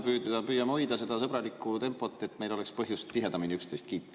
Püüame hoida seda sõbralikku tempot, et meil oleks põhjust tihedamini üksteist kiita.